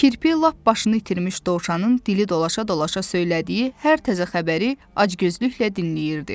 Kirpi lap başını itirmiş dovşanın dili dolaşa-dolaşa söylədiyi hər təzə xəbəri acgözlüklə dinləyirdi.